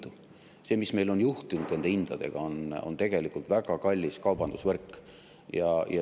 Selle, mis meil on juhtunud nende hindadega, on tegelikult väga kallis kaubandusvõrk.